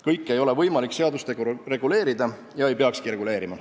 Kõike ei ole võimalik seadustega reguleerida ja ei peakski reguleerima.